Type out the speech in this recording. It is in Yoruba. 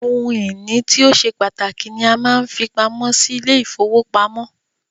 Ohun ìní tí o ṣe pàtàkì ni a máa ń fi pamọ́ sí ilé -ìfowópamọ́